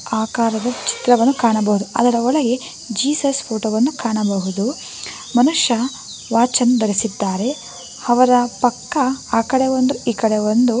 ಆಕಾರದ ಚಿತ್ರವನ್ನು ಕಾಣಬಹುದು ಅದರ ಒಳಗೆ ಜೀಸಸ್ ಫೋಟೋ ವನ್ನು ಕಾಣಬಹುದು ಮನುಷ್ಯ ವಾಚನ್ನು ಧರಿಸಿದ್ದಾರೆ ಅವರ ಪಕ್ಕ ಆ ಕಡೆ ಒಂದು ಈ ಕಡೆ ಒಂದು--